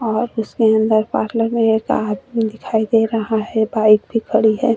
और इसके अंदर पार्लर में एक आदमी दिखाई दे रहा है. बाइक भी खड़ी है।